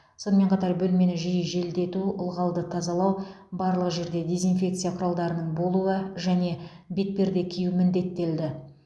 сонымен қатар бөлмені жиі желдету ылғалды тазалау барлық жерде дезинфекция құралдарының болуы және бетперде кию міндеттелді